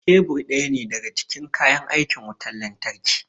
Kebur ɗaya ne daga cikin kayan aikin wutar lantarki